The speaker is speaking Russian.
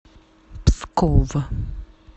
псков